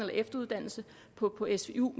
efteruddannelse på svu